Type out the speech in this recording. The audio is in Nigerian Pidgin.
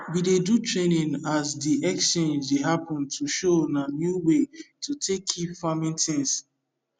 we dey do training as de exchange dey happen to show una new way to take keep farming things